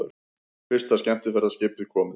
Fyrsta skemmtiferðaskipið komið